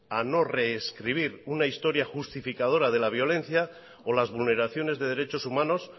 a no rescribir una historia justificadora de la violencia o las vulneraciones de derechos humanos